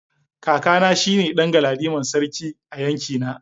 Kakana shine dan galadiman sarki a yankina.